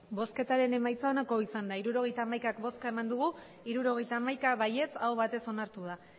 emandako botoak hirurogeita hamaika bai hirurogeita hamaika aho batez onartu da